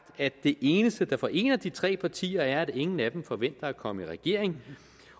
at det eneste der forener de tre partier er at ingen af dem forventer at komme i regering